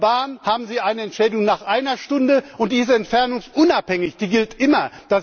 Bei der Bahn haben Sie eine Entschädigung nach einer Stunde, und die ist entfernungsunabhängig, die gilt immer.